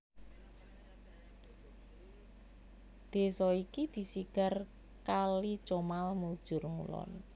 Desa iki disigar kali Comal mujur ngulon